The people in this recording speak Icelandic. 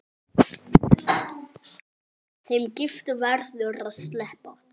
Þeim giftu verður að sleppa.